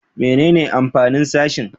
Menene amfanin sashen?